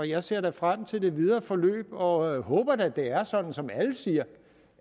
jeg ser frem til det videre forløb og håber da det er sådan som alle siger